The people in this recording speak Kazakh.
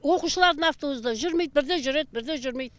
оқушылардың автобусы да жүрмейді бірде жүреді бірде жүрмейді